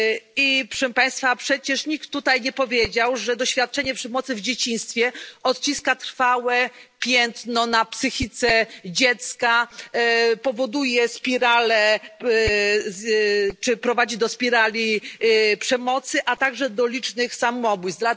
I proszę Państwa, przecież nikt tutaj nie powiedział, że doświadczenie przemocy w dzieciństwie odciska trwałe piętno na psychice dziecka, powoduje spiralę, czy prowadzi do spirali przemocy, a także do licznych samobójstw.